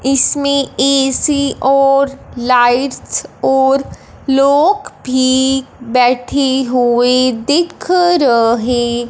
इसमें ए_सी और लाइट्स और लोग भी बैठे हुए दिख रहे--